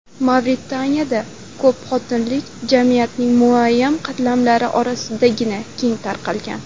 Mavritaniyada ko‘pxotinlilik jamiyatning muayyan qatlamlari orasidagina keng tarqalgan.